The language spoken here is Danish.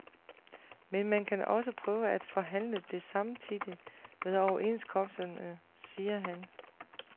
Men man kan også prøve at afhandle det samtidig med overenskomsterne, siger han.